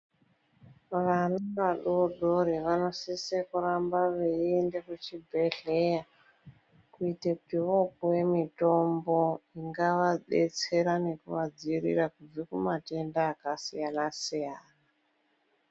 Vana vadodori vanosise kuramba veiende kuchibhedhlera kuite kuti voopuwe mitombo ingavabetsera nekuvadzivirira kubva kumatenda akasiyana-siyana.